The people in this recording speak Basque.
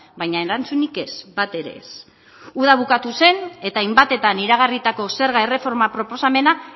baina erantzunik ez bat ere ez uda bukatu zen eta hainbatetan iragarritako zerga erreforma proposamena